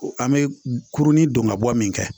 An bɛ kurunin don ka bɔ min kɛ